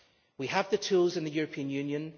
We have the tools in the European Union.